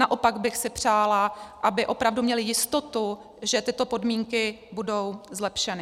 Naopak bych si přála, aby opravdu měly jistotu, že tyto podmínky budou zlepšeny.